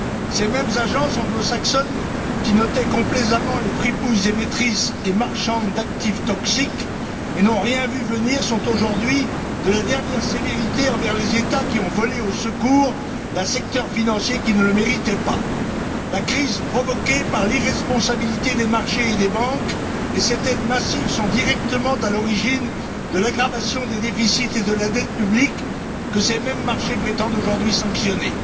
Ces mêmes agences anglo saxonnes, qui notaient complaisamment les fripouilles émettrices et marchandes d'actifs toxiques et n'ont rien vu venir, sont aujourd'hui de la dernière sévérité envers les États qui ont volé au secours d'un secteur financier qui ne le méritait pas. La crise provoquée par l'irresponsabilité des marchés et des banques, et cette aide massive sont directement à l'origine de l'aggravation des déficits et de la dette publics que ces mêmes marchés prétendent aujourd'hui sanctionner.